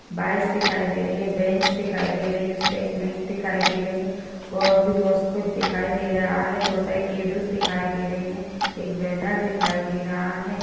Bikes दिखाई दे रही हैं बैंच दिखाई दे रही हैं उसपे एक मेट दिखाई दे रही और भी बहोत कुछ दिखाई दे रहा हैं एक बैनर दिखाई दे रहा हैं।